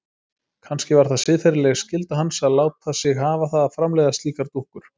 Kannski var það siðferðileg skylda hans að láta sig hafa það að framleiða slíkar dúkkur.